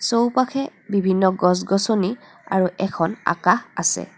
চৌপাশে বিভিন্ন গছ গছনি আৰু এখন আকাশ আছে।